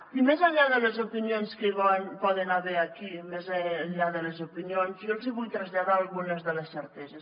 i més enllà de les opinions que hi poden haver aquí més enllà de les opinions jo els hi vull traslladar algunes de les certeses